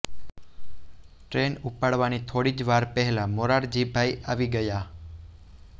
train ઉપડવાની થોડી જ વાર પહેલાં મોરારજીભાઇ આવી ગયા